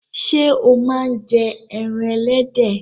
Ṣé o máa ń jẹ ẹran ẹlẹ́dẹ̀?